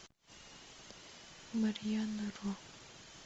марьяна ро